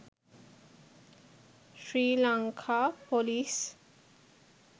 sri lanka police